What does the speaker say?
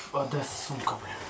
Bəs çanta haradadır, lənətə gəlsin?